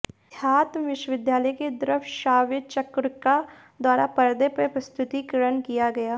अध्यात्म विश्वविद्यालय की दृक्श्राव्यचक्रिका द्वारा परदे पर प्रस्तुतीकरण किया गया